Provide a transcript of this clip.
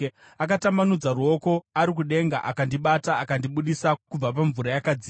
“Akatambanudza ruoko ari kudenga akandibata; akandibudisa kubva pamvura yakadzika.